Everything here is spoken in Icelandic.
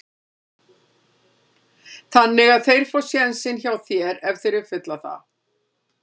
Þannig að þeir fá sénsinn hjá þér ef þeir uppfylla það?